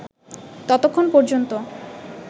ততক্ষণ পর্যন্ত